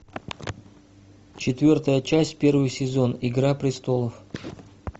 четвертая часть первый сезон игра престолов